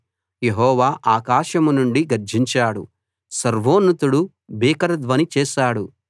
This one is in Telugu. యెహోవా ఆకాశం నుండి గర్జించాడు సర్వోన్నతుడు భీకర ధ్వని చేశాడు